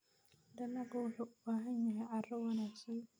Dalaggu wuxuu u baahan yahay carro wanaagsan.